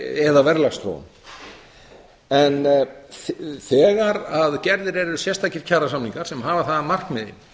eða verðlagsþróun en þegar gerðir eru sérstakir kjarasamningar sem hafa það að markmiði